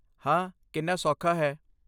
ਹਾਂ, ਕਿੰਨਾ ਸੌਖਾ ਹੈ।